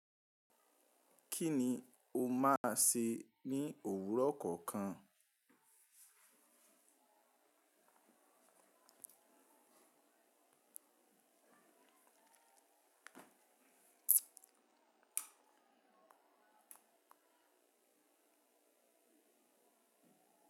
Kí ni o máa sè ní òwúrọ̀ kọ̀ọ̀kan?